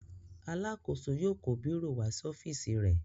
Alákòóso yóò kó bírò wá sí ọ́fíísì rẹ.